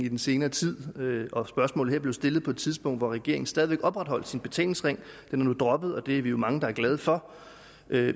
i den senere tid og spørgsmålet her blev stillet på et tidspunkt hvor regeringen stadig væk opretholdt sin betalingsring den er nu droppet og det er vi jo mange der er glade for